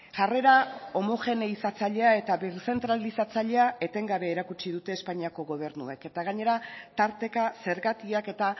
jarrera homogeneizatzailea eta birzentralizatzailea etengabe erakutsi dute espainiako gobernuek eta gainera tarteka zergatiak eta